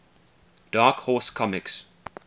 dark horse comics